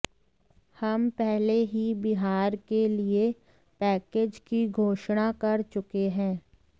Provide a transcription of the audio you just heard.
हम पहले ही बिहार के लिए पैकेज की घोषणा कर चुके हैं